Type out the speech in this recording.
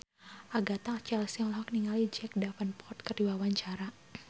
Agatha Chelsea olohok ningali Jack Davenport keur diwawancara